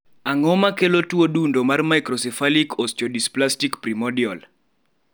ang'o makelo tuo dundo mar microcephalic osteodysplastic primordial